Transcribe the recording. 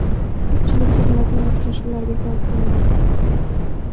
Ko‘pchilik yig‘iladigan uchrashuvlar bekor qilinadi.